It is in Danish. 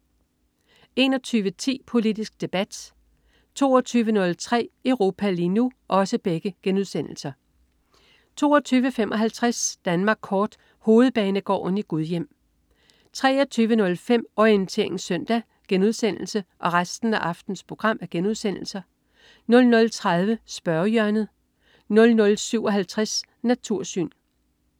21.10 Politisk Debat* 22.03 Europa lige nu* 22.55 Danmark kort. Hovedbanegården i Gudhjem 23.05 Orientering Søndag* 00.30 Spørgehjørnet* 00.57 Natursyn*